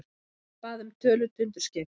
Hann bað um tölu tundurskeyta.